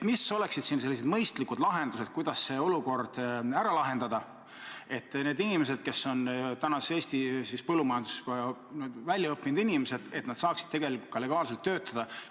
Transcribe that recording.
Mis oleksid mõistlikud lahendused, kuidas see olukord ära lahendada, et need inimesed, kes on Eesti põllumajanduses välja õppinud inimesed, saaksid ka legaalselt töötada?